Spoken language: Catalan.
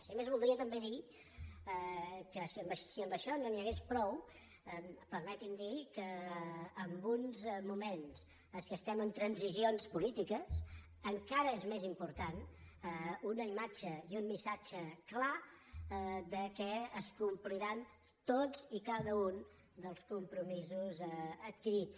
i a més voldria també dir que si amb això no n’hi hagués prou permeti’m dir que en uns moments en què estem en transicions polítiques encara són més importants una imatge i un missatge clar que es compliran tots i cada un dels compromisos adquirits